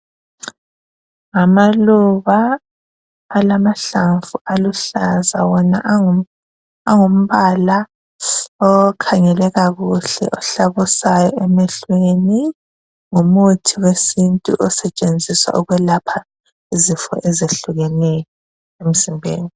Ngamaluba alamahlamvu aluhlaza wona angumbala akhangeleka kuhle ahlabusayo emehlweni. Ngumuthi wesintu osetshenziswa ukwelapha izifo ezehlukeneyo emzimbeni.